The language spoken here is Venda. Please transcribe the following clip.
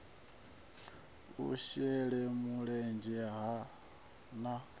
u shele mulenzhe ha nha